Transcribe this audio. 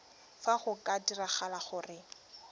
fa go ka diragala gore